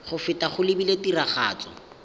go feta go lebilwe tiragatso